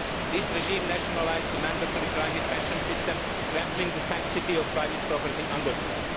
This regime nationalised the mandatory private pension system, trampling the sanctity of private property underfoot.